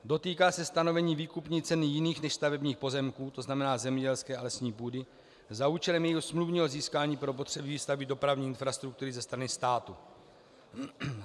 Dotýká se stanovení výkupní ceny jiných než stavebních pozemků, to znamená zemědělské a lesní půdy, za účelem jejího smluvního získání pro potřeby výstavby dopravní infrastruktury ze strany státu.